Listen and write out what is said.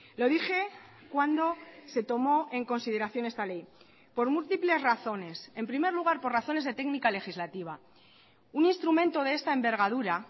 lo dije cuando se tomó en consideración esta ley por múltiples razones en primer lugar por razones de técnica legislativa un instrumento de esta envergadura